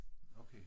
Okay